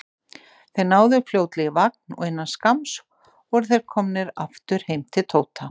Þeir náðu fljótlega í vagn og innan skamms voru þeir komnir aftur heim til Tóta.